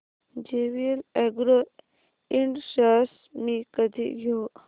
JVL agro ind shares मी कधी घेऊ